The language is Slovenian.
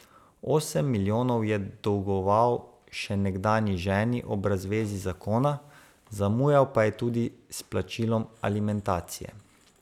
Osem milijonov je dolgoval še nekdanji ženi ob razvezi zakona, zamujal pa je tudi s plačilom alimentacije.